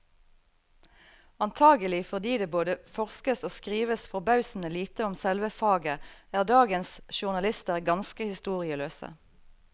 Antagelig fordi det både forskes og skrives forbausende lite om selve faget, er dagens journalister ganske historieløse.